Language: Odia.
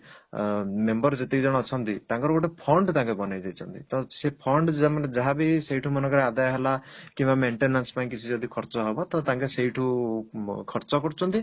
ଅ member ଯେତିକି ଜଣ ଅଛନ୍ତି ତାଙ୍କର ଗୋଟେ fund ତାଙ୍କେ ବନେଇଦେଇଛନ୍ତି ତ ସେ fund ସେମାନେ ଯାହାବି ସେଇଠୁ ମନେକର ଆଦାୟ ହେଲା କିମ୍ବା maintenance ପାଇଁ କିଛି ଯଦି ଖର୍ଚ ହବ ତ ତାଙ୍କେ ସେଇଠୁ ଉଁ ଖର୍ଚ କରୁଛନ୍ତି